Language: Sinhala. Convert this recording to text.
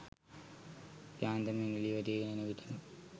යාන්තමින් එලිය වැටීගෙන එනවිටම